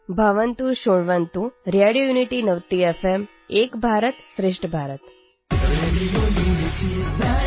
भवन्तः शृण्वन्तु रेडियोयुनिटीनवतिएफ्एम् एकभारतं श्रेष्ठभारतम्